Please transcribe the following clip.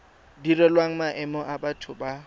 direlwang maemo a batho ba